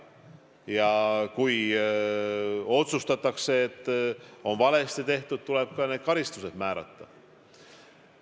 Ja kui otsustatakse, et midagi on valesti tehtud, tuleb ka karistused määrata.